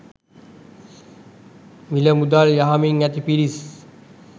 මිල මුදල් යහමින් ඇති පිරිස්